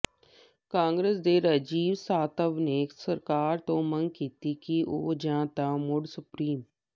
ਕਾਂਗਰਸ ਦੇ ਰਾਜੀਵ ਸਾਤਵ ਨੇ ਸਰਕਾਰ ਤੋਂ ਮੰਗ ਕੀਤੀ ਕਿ ਉਹ ਜਾਂ ਤਾਂ ਮੁੜ ਸੁਪਰੀਮ